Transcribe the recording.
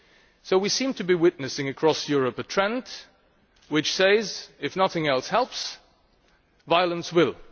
So we seem to be witnessing across Europe a trend which says if nothing else helps, violence will.